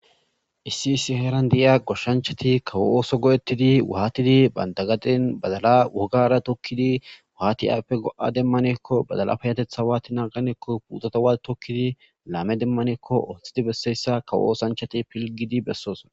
Issi issi heran deiya goshanchati kawo oso goetidi watidi banta gaden badal wogara tokidi wati ayfe goa demanakko badala fayateta watidi naganakko puteta wati tokudi lame demanakko otidi besiyayta osanchati filgidi besosina.